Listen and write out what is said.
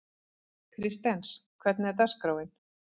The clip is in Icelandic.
Kristens, hvernig er dagskráin?